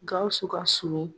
Gawusu ka sumi.